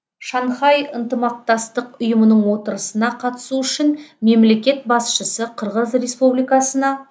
шанхай ынтымақтастық ұйымының отырысына қатысу үшін мемлекет басшысы қырғыз республикасына